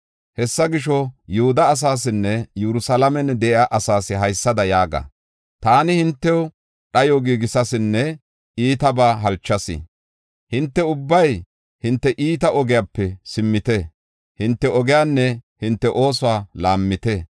“Hessa gisho, Yihuda asaasinne Yerusalaamen de7iya asaas haysada yaaga. Taani hintew dhayo giigisaysinne iitabaa halchayis. Hinte ubbay hinte iita ogiyape simmite; hinte ogiyanne hinte oosuwa laammite.